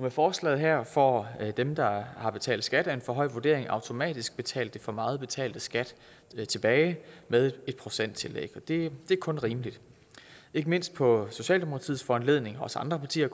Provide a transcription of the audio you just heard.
med forslaget her får dem der har betalt skat af en for høj vurdering automatisk betalt det for meget betalte skat tilbage med et procenttillæg og det er kun rimeligt ikke mindst på socialdemokratiets foranledning og også andre partier